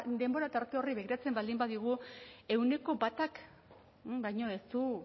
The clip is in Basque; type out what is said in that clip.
denbora tarte horri begiratzen baldin badiogu ehuneko batak baino ez du